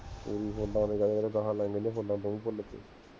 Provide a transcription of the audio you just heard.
ਏਹੀ ਫੁੱਲਾਂ ਤੇ ਹੈ, ਕਹਿੰਦਾ ਗਾਹਾਂ ਲਈਆਂ ਨੇ ਫੁੱਲਾਂ ਦੋ ਭੁਲਕੇ